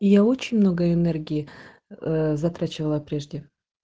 и я очень много энергии ээ затрачивала прежде